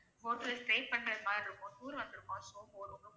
Hotel stay பண்ற மாதிரி இருக்கோம் tour வந்துருக்கோம் so போறோம்